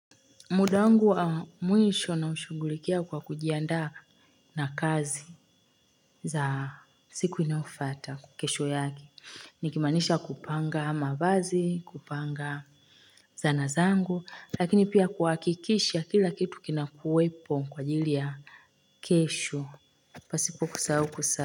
Muda wangu wa mwisho naushuhhughulia kwa kujianda na kazi za siku inafata kukesho yage. Nikimanisha kupanga ama bazi, kupanga zanazangu, lakini pia kuakikisha kila kitu kina kuwepo kwa ajilia kesho. Pasipo kusau kusau.